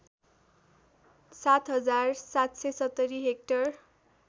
७ हजार ७७० हेक्टर